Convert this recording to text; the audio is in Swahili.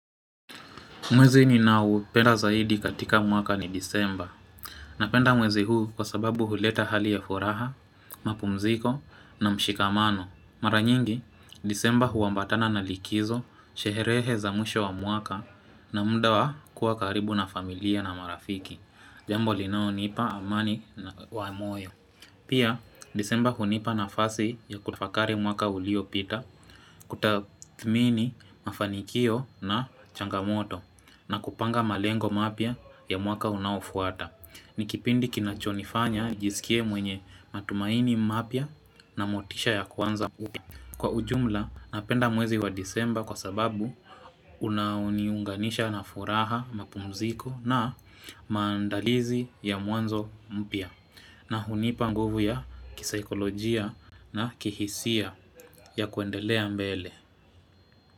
Mwezi ni na upenda zaidi katika mwaka ni disemba. Napenda mwezi huu kwa sababu huleta hali ya furaha, mapumziko na mshikamano. Mara nyingi, disemba huambatana na likizo, sheherehe za mwisho wa mwaka na muda wa kuwa karibu na familia na marafiki. Jambo linao nipa amani na wa moyo. Pia, disemba hunipa nafasi ya kutafakari mwaka uliopita, kutadhmini mafanikio na changamoto, na kupanga malengo mapya ya mwaka unafuata. Nikipindi kinachonifanya, nijisikie mwenye matumaini mapya na motisha ya kuanza mpya. Kwa ujumla, napenda mwezi wa disemba kwa sababu, unao ni unganisha na furaha, mapumziko na maandalizi ya mwanzo mpya. Na hunipa nguvu ya kisaikolojia na kihisia ya kuendelea mbele.